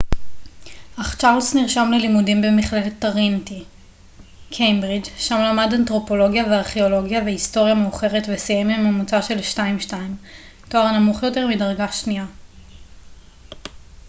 אך צ'ארלס נרשם ללימודים במכללת טריניטי קיימברידג' שם למד אנתרופולוגיה וארכאולוגיה והיסטוריה מאוחרת וסיים עם ממוצע של 2:2 תואר נמוך יותר מדרגה שנייה